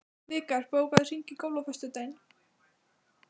Vikar, bókaðu hring í golf á föstudaginn.